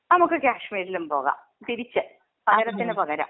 നമുക്ക് കാശ്മീരിലും പോവാം. തിരിച്ച്. പകരത്തിന് പകരം.